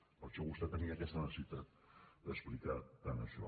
per això vostè tenia aquesta necessitat d’explicar tant això